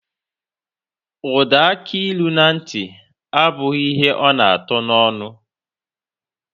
Ọda akilu na ntị, abụghị ihe ọ na atọ n'ọnụ.